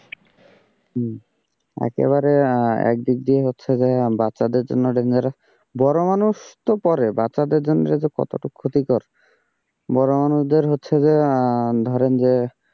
হম একেবারে একদিক দিয়ে হচ্ছে যে বাচ্চাদের জন্য dangerous বড় মানুষ তো পরে, বাচ্চাদের জন্য যে কতটুকু ক্ষতিকর, বড় মানুষদের হচ্ছে যে, ধরেন যে,